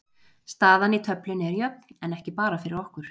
Staðan í töflunni er jöfn en ekki bara fyrir okkur.